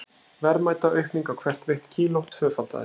Verðmætaaukning á hvert veitt kíló tvöfaldaðist.